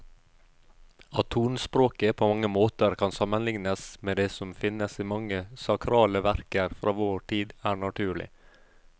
At tonespråket på mange måter kan sammenlignes med det som finnes i mange sakrale verker fra vår tid, er naturlig.